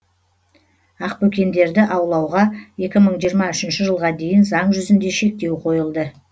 ақбөкендерді аулауға екі мың жиырма үшінші жылға дейін заң жүзінде шектеу қойылды